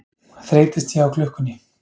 Þreytist ég á klukkunni.